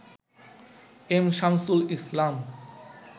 M Shamsul Islam